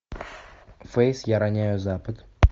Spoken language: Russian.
фейс я роняю запад